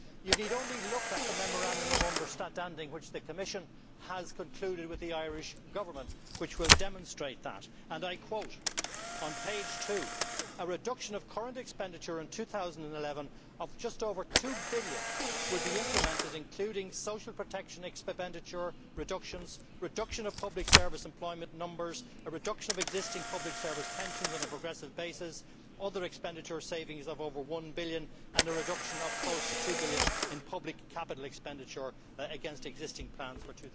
You need only look at the Memorandum of Understanding which the Commission has concluded with the Irish Government for a demonstration of that. It is stated on page 2 that a reduction of current expenditure in 2011 of just over EUR 2 billion will be implemented, including social protection expenditure reductions, a reduction of public service employment numbers, a reduction of existing public service pensions on a progressive basis, other expenditure savings of over EUR 1 billion, and a reduction of close to EUR 2 billion in public capital expenditure against existing plans for